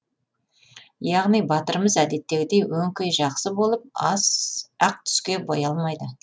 яғни батырымыз әдеттегідей өңкей жақсы болып ақ түске боялмайды